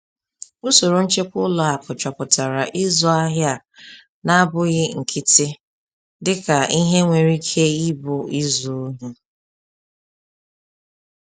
Usoro nchekwa ụlọ akụ chọpụtara ịzụ ahịa a na-abụghị nkịtị dịka ihe nwere ike ịbụ izu ohi.